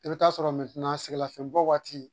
I bi t'a sɔrɔ sɛgɛn lafinɲɛ bɔ waati